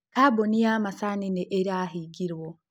Kambuni ya macani nĩ ĩrahĩngĩrwo.